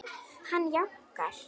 Hann jánkar.